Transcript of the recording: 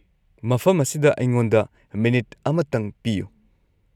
ꯃꯐꯝ ꯑꯁꯤꯗ ꯑꯩꯉꯣꯟꯗ ꯃꯤꯅꯤꯠ ꯑꯃꯔꯪ ꯄꯤꯌꯨ ꯫